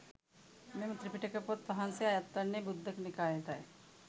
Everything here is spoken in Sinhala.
මෙම ත්‍රිපිටක පොත් වහන්සේ අයත් වන්නේ ඛුද්දක නිකායටයි.